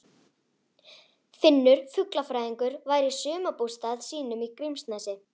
Finnur fuglafræðingur væri í sumarbústað sínum í Grímsnesi.